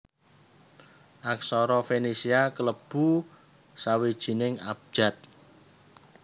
Aksara Fenisia klebu sawijining abjad